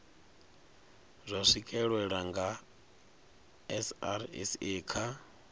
zwa swikelelwa nga srsa kha